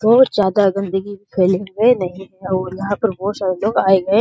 बहुत ज्यादा गंदगी फ़ैले हुए नहीं और यहाँ पर बहुत सारे लोग आए हैं ।